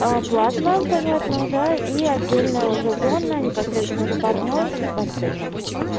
а платно понятно да и отдельно уже зона непосредственно с парной и бассейном